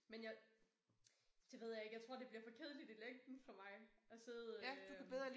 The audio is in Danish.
Men jeg det ved jeg ikke jeg tror det bliver for kedeligt i længden for mig at sidde øh